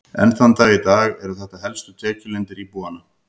Enn þann dag í dag eru þetta helstu tekjulindir íbúanna.